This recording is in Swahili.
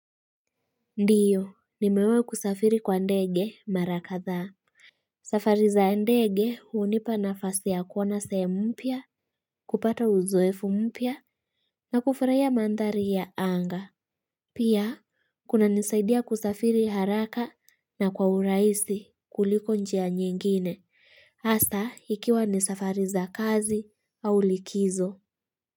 Ndiyo nimewai kusafiri kwa ndege mara kadhaa safari za ndege unipa nafasi ya kuona sehemu mpya kupata uzoefu mpya na kufurahia mandhari ya anga Pia kunanisaidia kusafiri haraka na kwa urahisi kuliko njia nyingine hasa ikiwa ni safariza kazi au likizo.